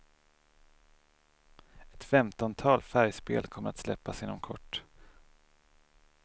Ett femtontal färgspel kommer att släppas inom kort.